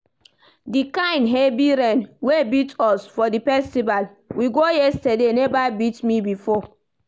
The kyn heavy rain wey beat us for the festival we go yesterday never beat me before